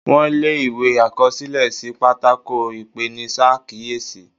Wón le ìwé àkọsílẹ̀ sí pátákó ipenisakiyesi.